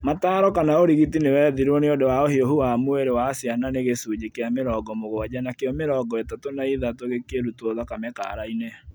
Mataro kana ũrigiti nĩwethirwo nĩundũ wa ũhiũhu wa mwĩrĩ wa ciana nĩ gĩcunjĩ kĩa mĩrongo mũgwanja nakĩo mĩrongo ĩtatũ na ĩthatũ gĩkĩrutwo thakame kaara inĩ